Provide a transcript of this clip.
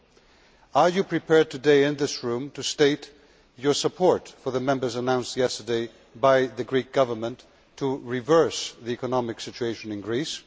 President Barroso, are you prepared today, in this Chamber, to state your support for the measures announced yesterday by the Greek Government to reverse the economic situation in Greece?